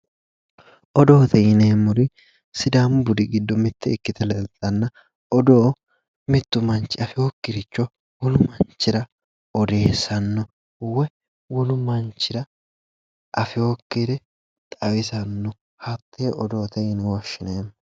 Odoote yineemmori sidaamu budi giddo mitte ikkite leeltanna odoo mittu manchi afeyokkiricho wolu manchira odeessanno woyi wolu manchira afeyokkire xawisanno hattee odoote yine woshshineemmo